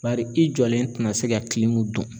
Bari i jɔlen ti na se ka dɔn.